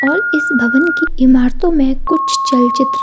और इस भवन के इमारतों में कुछ चलचित्र --